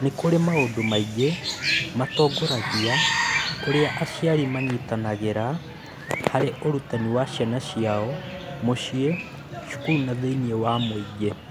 Nĩ kũrĩ maũndũ maingĩ matongoragia ũrĩa aciari manyitanagĩra harĩ ũrutani wa ciana ciao mũciĩ, cukuru na thĩinĩ wa mũingĩ.